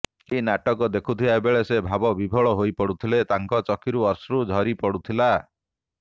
ଏହି ନାଟକ ଦେଖୁଥିବା ବେଳେ ସେ ଭାବ ବିହ୍ବଳ ହୋଇପଡ଼ୁଥିଲେ ତାଙ୍କ ଚକ୍ଷୁରୁ ଅଶ୍ରୁ ଝରିପଡ଼ୁଥିଲା